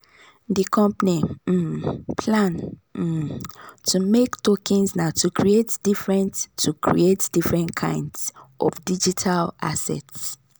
the company um plan um to make tokens na to create different to create different kinds of digital assets.